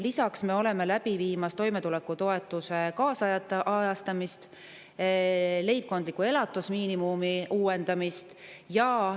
Lisaks oleme läbi viimas toimetulekutoetuse kaasajastamist ja leibkondliku elatusmiinimumi uuendamist.